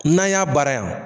N'an y'a baara yan